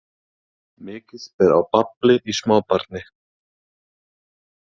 Mikið ber á babli í smábarni.